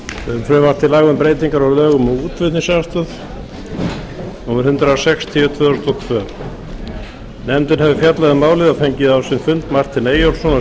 um frumvarp til laga um breytingar á lögum um útflutningsaðstoð númer hundrað sextíu tvö þúsund og tvö nefndin hefur fjallað um málið og fengið á sinn fund martin eyjólfsson